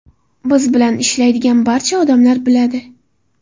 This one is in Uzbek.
Biz bilan ishlaydigan barcha odamlar biladi.